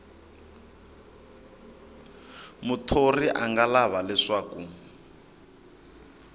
muthori a nga lava leswaku